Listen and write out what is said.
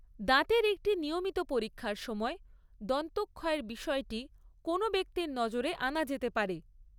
দাঁতের একটি নিয়মিত পরীক্ষার সময় দন্তক্ষয়ের বিষয়টি কোনও ব্যক্তির নজরে আনা যেতে পারে।